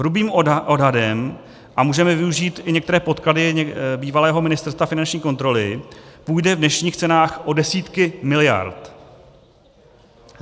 Hrubým odhadem - a můžeme využít i některé podklady bývalého ministerstva finanční kontroly - půjde v dnešních cenách o desítky miliard.